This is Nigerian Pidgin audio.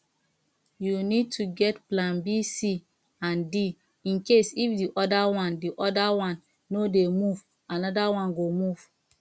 you need to get plan bc and d incase if di other one other one no dey move anoda one go move